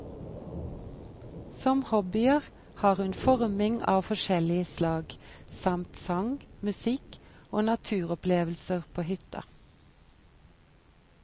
Som hobbyer har hun forming av forskjellig slag, samt sang, musikk og naturopplevelser på hytta.